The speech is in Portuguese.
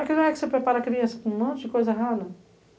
Aqui não é que você prepara a criança com um monte de coisa errada?